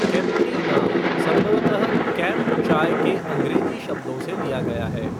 केम्पटी नाम संभवतः 'कैम्प चाय' के अंग्रेजी शब्दों से लिया गया है।